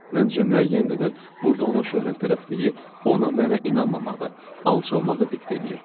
Məncə müəyyən qədər burda onun şöhrətpərəstliyi ona mənə inanmamağı, alçalmağı diktə eləyirdi.